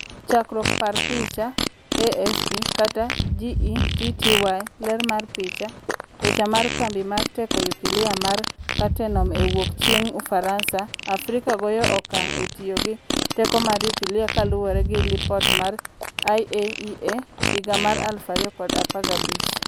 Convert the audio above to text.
Chakruok par picha, AFP/GETTY ler mar picha, picha mar kambi mar teko nyukilia mar Cattenom e wuok chieng' Ufaransa. Afrika goyo okang' e tiyo gi teko mar nyukilia kaluore gi lipot mar IAEA higa 2015,